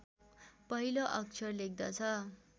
पहिलो अक्षर लेख्दछ